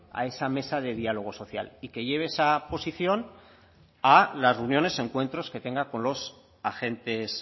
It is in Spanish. a esa mesa de diálogo social y que lleve esa posición a las reuniones y encuentros que tengan con los agentes